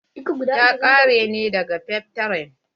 Ta ƙare ne daga folytekni.